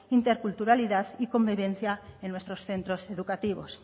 interculturalidad y convivencia en nuestros centros educativos